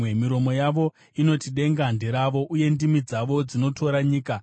Miromo yavo inoti denga nderavo, uye ndimi dzavo dzinotora nyika.